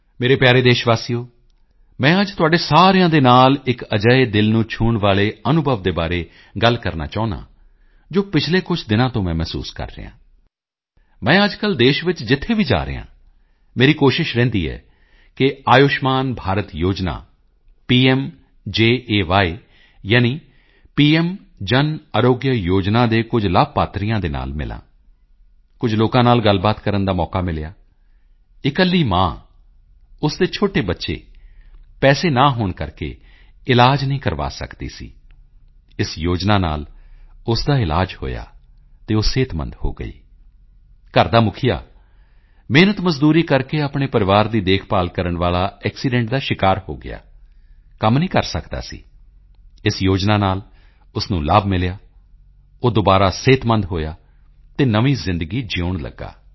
ਮੇਰੇ ਪਿਆਰੇ ਦੇਸ਼ਵਾਸੀਓ ਮੈਂ ਅੱਜ ਤੁਹਾਡੇ ਸਾਰਿਆਂ ਦੇ ਨਾਲ ਇੱਕ ਅਜਿਹੇ ਦਿਲ ਨੂੰ ਛੂਹਣ ਵਾਲੇ ਅਨੁਭਵ ਦੇ ਬਾਰੇ ਗੱਲ ਕਰਨਾ ਚਾਹੁੰਦਾ ਹਾਂ ਜੋ ਪਿਛਲੇ ਕੁਝ ਦਿਨਾਂ ਤੋਂ ਮੈਂ ਮਹਿਸੂਸ ਕਰ ਰਿਹਾ ਹਾਂ ਅੱਜਕੱਲ੍ਹ ਦੇਸ਼ ਵਿੱਚ ਜਿੱਥੇ ਵੀ ਜਾ ਰਿਹਾ ਹਾਂ ਮੇਰੀ ਕੋਸ਼ਿਸ਼ ਰਹਿੰਦੀ ਹੈ ਕਿ ਆਯੁਸ਼ਮਾਨ ਭਾਰਤ ਯੋਜਨਾ ਪੀਐੱਮ ਜੇਅ ਯਾਨੀ ਪੀਐੱਮ ਜਨ ਆਰੋਗਯ ਯੋਜਨਾ ਦੇ ਕੁਝ ਲਾਭਪਾਤਰੀਆਂ ਨਾਲ ਮਿਲਾਂ ਕੁਝ ਲੋਕਾਂ ਨਾਲ ਗੱਲਬਾਤ ਕਰਨ ਦਾ ਮੌਕਾ ਮਿਲਿਆ ਇਕੱਲੀ ਮਾਂ ਉਸ ਦੇ ਛੋਟੇ ਬੱਚੇ ਪੈਸੇ ਨਾ ਹੋਣ ਕਰਕੇ ਇਲਾਜ ਨਹੀਂ ਕਰਵਾ ਸਕਦੀ ਸੀ ਇਸ ਯੋਜਨਾ ਨਾਲ ਉਸ ਦਾ ਇਲਾਜ ਹੋਇਆ ਅਤੇ ਉਹ ਸਿਹਤਮੰਦ ਹੋ ਗਈ ਘਰ ਦਾ ਮੁਖੀਆ ਮਿਹਨਤਮਜ਼ਦੂਰੀ ਕਰਕੇ ਆਪਣੇ ਪਰਿਵਾਰ ਦੀ ਦੇਖਭਾਲ ਕਰਨ ਵਾਲਾ ਐਕਸੀਡੈਂਟ ਦਾ ਸ਼ਿਕਾਰ ਹੋ ਗਿਆ ਕੰਮ ਨਹੀਂ ਕਰ ਸਕਦਾ ਸੀ ਇਸ ਯੋਜਨਾ ਨਾਲ ਉਸ ਨੂੰ ਲਾਭ ਮਿਲਿਆ ਅਤੇ ਉਹ ਦੁਬਾਰਾ ਸਿਹਤਮੰਦ ਹੋਇਆ ਤੇ ਨਵੀਂ ਜ਼ਿੰਦਗੀ ਜਿਊਣ ਲੱਗਾ